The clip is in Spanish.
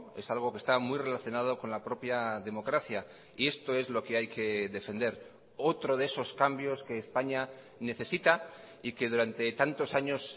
es algo que está muy relacionado con la propia democracia y esto es lo que hay que defender otro de esos cambios que españa necesita y que durante tantos años